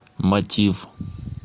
мотив